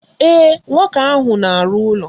Ee, nwoke ahụ na arụ ụlọ.